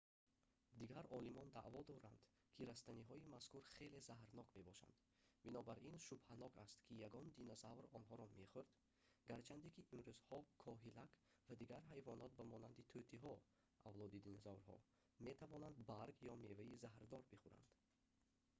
дигар олимон даъво доранд ки растаниҳои мазкур хеле заҳрнок мебошанд бинобар ин шубҳанок аст ки ягон динозавр онҳоро мехӯрд гарчанде ки имрӯзҳо коҳилак ва дигар ҳайвонот ба монанди тӯтиҳо авлоди динозаврҳо метавонанд барг ё меваи заҳрдор бихӯранд